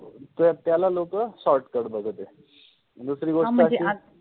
त्याला लोक shortcut बघते, दुसरि गोष्ट अशि हा मंजे